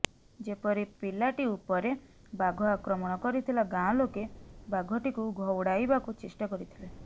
ଯେପରି ପିଲାଟି ଉପରେ ବାଘ ଆକ୍ରମଣ କରିଥିଲା ଗାଁଲୋକେ ବାଘଟିକୁ ଘଉଡ଼ାଇବାକୁ ଚେଷ୍ଟା କରିଥିଲେ